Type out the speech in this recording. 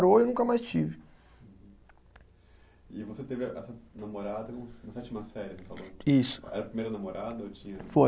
e eu nunca mais tive. Uhum. E você teve essa namorada na sétima série, você falou? Isso. Era a primeira namorada ou tinha. Foi